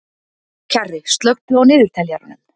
Kjarri, slökktu á niðurteljaranum.